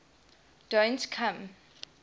don t come